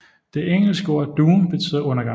Det engelske ord Doom betyder undergang